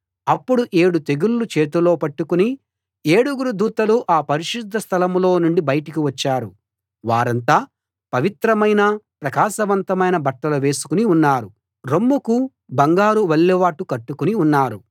అప్పుడు ఏడు తెగుళ్ళు చేతిలో పట్టుకుని ఏడుగురు దూతలు ఆ పరిశుద్ధ స్థలంలో నుండి బయటకు వచ్చారు వారంతా పవిత్రమైన ప్రకాశవంతమైన బట్టలు వేసుకుని ఉన్నారు రొమ్ముకు బంగారు వల్లెవాటు కట్టుకుని ఉన్నారు